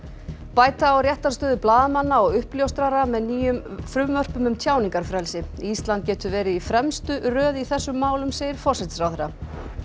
bæta á réttarstöðu blaðamanna og uppljóstrara með nýjum frumvörpum um tjáningarfrelsi ísland getur verið í fremstu röð í þessum málum segir forsætisráðherra